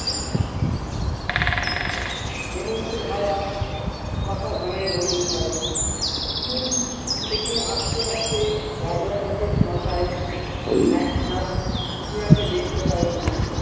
হেমন্তর হাওয়া পাকা ধানের গন্ধ ছাড়ে স্কুল থেকে থেকে আসতে আসতে বাবলা গাছের মাথায় একঝাঁক টিয়াকে দেখতে পায় পুলু।